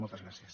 moltes gràcies